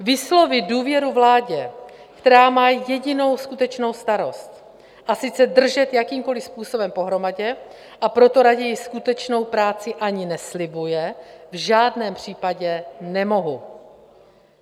Vyslovit důvěru vládě, která má jedinou skutečnou starost, a sice držet jakýmkoli způsobem pohromadě, a proto raději skutečnou práci ani neslibuje, v žádném případě nemohu.